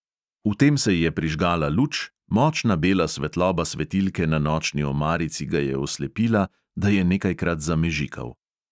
Vtem se je že prižgala luč, močna bela svetloba svetilke na nočni omarici ga je oslepila, da je nekajkrat zamežikal.